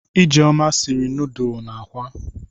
Ijeoma siri nọọdụlụ na akwa.